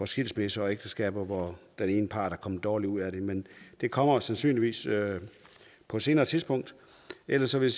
skilsmisser og ægteskaber hvor den ene part er kommet dårligt ud af det men det kommer sandsynligvis på et senere tidspunkt ellers vil